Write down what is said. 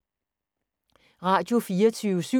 Radio24syv